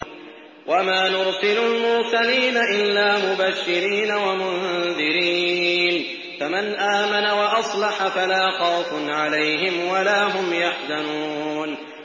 وَمَا نُرْسِلُ الْمُرْسَلِينَ إِلَّا مُبَشِّرِينَ وَمُنذِرِينَ ۖ فَمَنْ آمَنَ وَأَصْلَحَ فَلَا خَوْفٌ عَلَيْهِمْ وَلَا هُمْ يَحْزَنُونَ